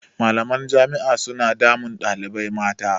Malaman jami'a suna damun ɗalibai mata.